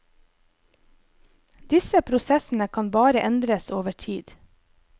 Disse prosessene kan bare endres over tid.